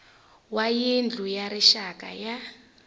wa yindlu ya rixaka ya